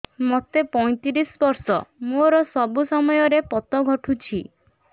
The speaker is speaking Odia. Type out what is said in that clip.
ମୋତେ ପଇଂତିରିଶ ବର୍ଷ ମୋର ସବୁ ସମୟରେ ପତ ଘଟୁଛି